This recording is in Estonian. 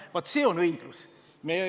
Vaat see on õiglus!